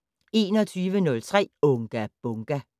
21:03: Unga Bunga!